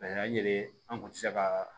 A yɛrɛ an kun tɛ se ka